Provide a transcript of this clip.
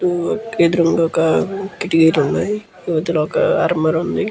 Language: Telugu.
ఎదురుంగ ఒక కిటికీలు ఉన్నాయి. ఇవతల ఒక అరమర ఉంది.